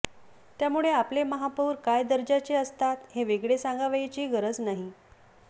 त्यामुळे आपले महापौर काय दर्जाचे असतात हे वेगळे सांगावयाची गरज नाही